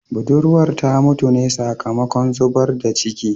Budurwar ta mutu ne sakamakon zubar da ciki